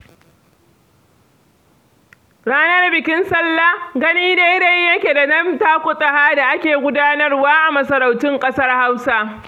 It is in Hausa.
Ranar bikin sallar gani daidai yake da na takutaha da ake gudanarwa a wasu masarautun ƙasar Hausa.